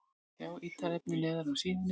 Sjá ítarefni neðar á síðunni